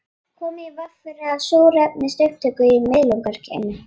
Komið í veg fyrir súrefnisupptöku í miðlunargeymi